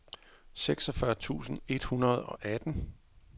seksogfyrre tusind et hundrede og atten